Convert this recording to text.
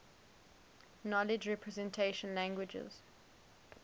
knowledge representation languages